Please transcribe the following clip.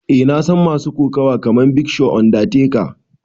Eh na san masu kokawa kaman big show, undertaker.